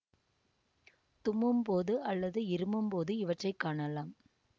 தும்மும் போது அல்லது இருமும்போது இவற்றை காணலாம்